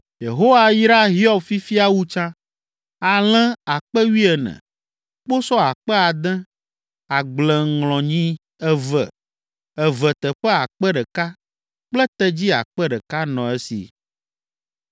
Yehowa yra Hiob fifia wu tsã. Alẽ akpe wuiene (14,000), kposɔ akpe ade (6,000), agbleŋlɔnyi eve, eve teƒe akpe ɖeka (1,000) kple tedzi akpe ɖeka (1,000) nɔ esi.